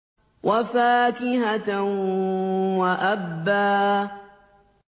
وَفَاكِهَةً وَأَبًّا